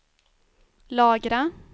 lagra